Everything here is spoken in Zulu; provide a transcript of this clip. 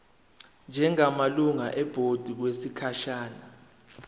njengamalungu ebhodi okwesikhashana